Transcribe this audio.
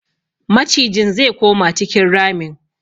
Macijin ze koma cikin ramin.